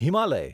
Himalaya